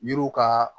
Yiriw ka